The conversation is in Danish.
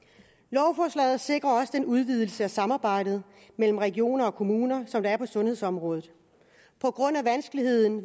lovforslaget sikrer også en udvidelse af det samarbejde mellem regioner og kommuner som der er på sundhedsområdet på grund af vanskeligheden